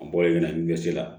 A bɔlen ka na ɲɛsira